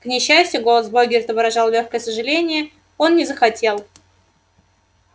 к несчастью голос богерта выражал лёгкое сожаление он не захотел